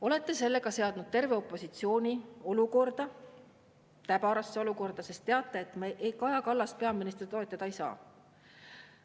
Olete sellega seadnud terve opositsiooni täbarasse olukorda, sest teate, et me Kaja Kallast peaministrina toetada ei saa.